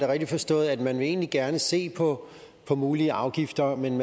rigtigt forstået at man egentlig gerne vil se på mulige afgifter men